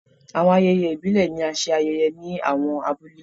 Awọn ayẹyẹ ibile ni a ṣe ayẹyẹ ni awọn abule